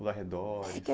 Os arredores?